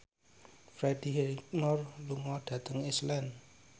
Freddie Highmore lunga dhateng Iceland